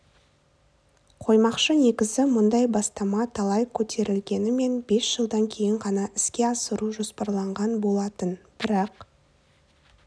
қоймақшы негізі мұндай бастама талай көтерілгенімен бес жылдан кейін ғана іске асыру жоспарланған болатын бірақ